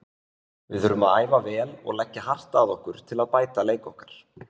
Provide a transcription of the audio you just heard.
Við þurfum að æfa vel og leggja hart að okkur til að bæta leik okkar.